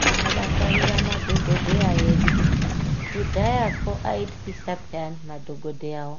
Tinofakarira madhokodheya edu kudhayakwo aityisa Payani madhokodheyawo